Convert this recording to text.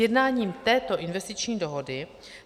Sjednáním této investiční dohody